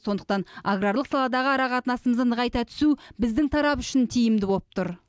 сондықтан аграрлық саладағы ара қатынасымызды нығайта түсу біздің тарап үшін тиімді болып тұр